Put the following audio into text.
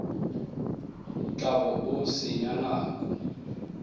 tla bo o senya nako